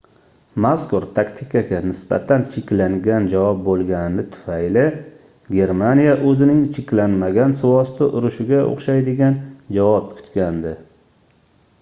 mazkur taktikaga nisbatan cheklangan javob boʻlgani tufayli germaniya oʻzining cheklanmagan suvosti urushiga oʻxshaydigan javob kutgandi